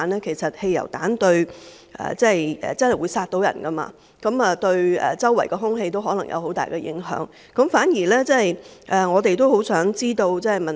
其實，汽油彈真的能夠殺人，對周圍的空氣亦可能有很大影響，而我們也很想知道這方面的情況。